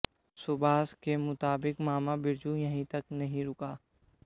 सुभाष के मुताबिक मामा बिरजू यहीं तक नहीं रुका